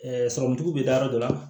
sɔrɔmutigiw be taa yɔrɔ dɔ la